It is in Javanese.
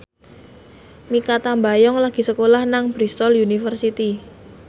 Mikha Tambayong lagi sekolah nang Bristol university